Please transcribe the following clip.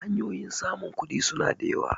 hanyoyin samun kudi suna da yawa